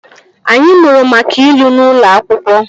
Anyị mụrụ maka ilu n'ụlọ akwụkwọ